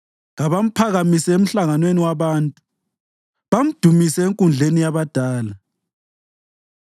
Kabamphakamise emhlanganweni wabantu bamdumise enkundleni yabadala.